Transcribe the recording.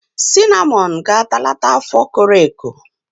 Sinamọn ga-atalata afọ koro eko.